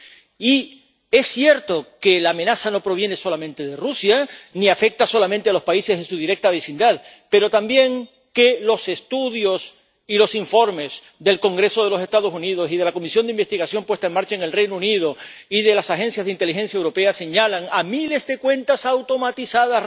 Y es cierto que la amenaza no proviene solamente de Rusia ni afecta solamente a los países de su directa vecindad, pero también que los estudios y los informes del Congreso de los Estados Unidos y de la comisión de investigación puesta en marcha en el Reino Unido y de las agencias de inteligencia europeas señalan a miles de cuentas automatizadas,